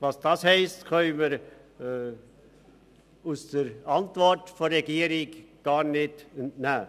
» Was das heisst, können wir der Antwort der Regierung gar nicht entnehmen.